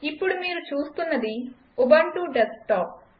ఇప్పుడు మీరు చూస్తున్నది ఉబంటు డెస్క్టాప్